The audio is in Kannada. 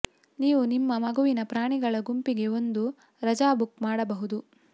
ನೀವು ನಿಮ್ಮ ಮಗುವಿನ ಪ್ರಾಣಿಗಳ ಗುಂಪಿಗೆ ಒಂದು ರಜಾ ಬುಕ್ ಮಾಡಬಹುದು